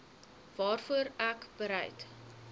waarvoor ek bereid